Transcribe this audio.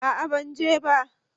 A'a ban je ba